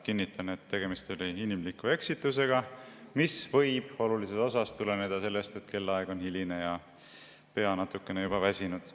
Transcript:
Kinnitan, et tegemist oli inimliku eksitusega, mis võib olulises osas tuleneda sellest, et kellaaeg on hiline ja pea natuke väsinud.